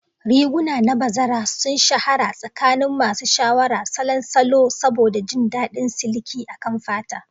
Riguna na bazara sun shahara a tsakanin masu sha'awar salon salo saboda jin daɗin siliki akan fata.